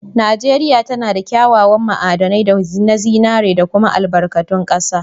Najeria tanada kya kyawan ma'adanai na zinari da kuma albarkatu kasa.